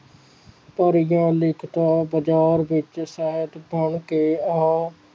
ਕਾਰਗੀਆਂ ਲਿਖਤਾਂ ਬਾਜ਼ਾਰ ਵਿਚ ਸਾਹਿਤ ਫੈਲ ਕੇ ਆਹਾ